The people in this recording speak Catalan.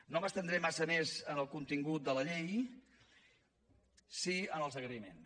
no m’estendré massa més en el contingut de la llei sí en els agraïments